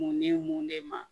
Mun ni mun de ma